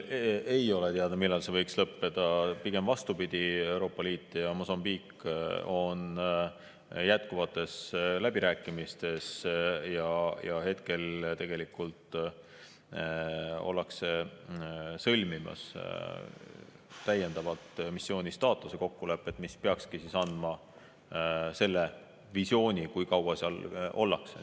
Hetkel ei ole teada, millal see võiks lõppeda, pigem vastupidi, Euroopa Liit ja Mosambiik on jätkuvates läbirääkimistes ja ollakse sõlmimas täiendavalt missiooni staatuse kokkulepet, mis peakski andma selle visiooni, kui kaua seal ollakse.